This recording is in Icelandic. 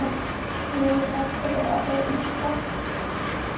Mér er allri orðið ískalt.